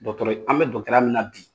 Dɔgɔtɔrɔ an bɛ dɔgɔtɔrɔya min na bi